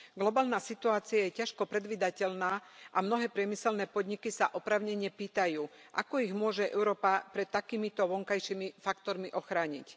Globálna situácia je ťažko predvídateľná a mnohé priemyselné podniky sa oprávnene pýtajú, ako ich môže Európa pred takýmito vonkajšími faktormi ochrániť.